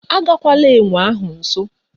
Agagwala enwe ahụ nso